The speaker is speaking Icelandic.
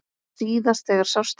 Síðast þegar sást til